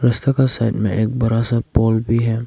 रास्ता का साइड में एक बड़ा सा पोल भी है।